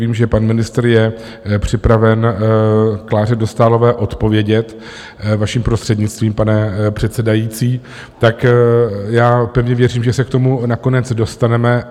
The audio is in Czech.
Vím, že pan ministr je připraven Kláře Dostálové odpovědět, vaším prostřednictvím, pane předsedající, tak já pevně věřím, že se k tomu nakonec dostaneme.